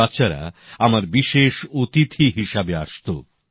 এই বাচ্চারা আমার বিশেষ অতিথি হিসেবে আসত